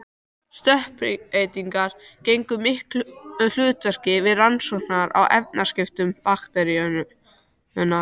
Stökkbreytingar gegndu miklu hlutverki við rannsóknir á efnaskiptum bakteríunnar.